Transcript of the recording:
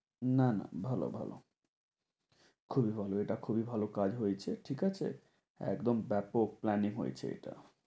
না না ভালো ভালো খুবই ভালো এটা খুবই ভালো কাজ হয়েছে। ঠিকাছে? একদম ব্যাপক plan এ হয়েছে এটা।